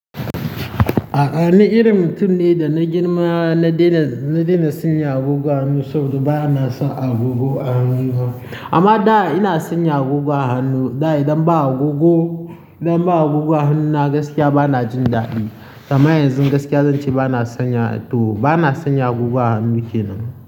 A'a ni irin mutum nai da na girma na daina, na daina sanya agogo a hannu saboda ba na son agogo a hannuna. Amma da ina sanya agogo a hannu, da idan ba agogo, idan ba agogo a hannuna gaskiya ba na jin daɗi. Kamar yanzu gaskiya zan ce ba na sanya to ba na sanya agogo a hannu kenan.